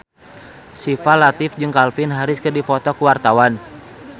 Syifa Latief jeung Calvin Harris keur dipoto ku wartawan